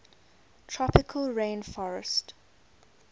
tropical rain forestt